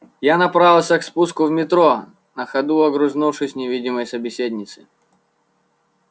я направился к спуску в метро на ходу огрызнувшись невидимой собеседнице